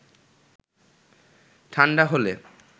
ঠাণ্ডা হলে